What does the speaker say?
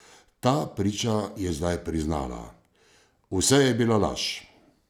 Ta priča je zdaj priznala: ''Vse je bila laž''.